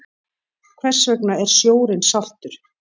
Hvers vegna er sjórinn saltur?